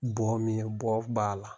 Bɔ min bɔ b'a la.